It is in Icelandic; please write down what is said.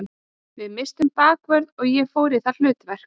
Við misstum bakvörð og ég fór í það hlutverk.